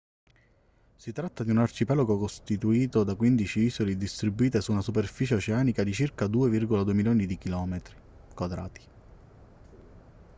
si tratta di un arcipelago costituito da 15 isole distribuite su una superficie oceanica di circa 2,2 milioni di km²